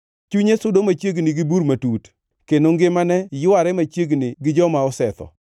Chunye sudo machiegni gi bur matut, kendo ngimane yware machiegni gi joma osetho.